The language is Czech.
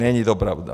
Není to pravda!